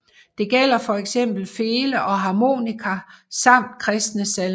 Det gælder for eksempel fele og harmonika samt kristne salmer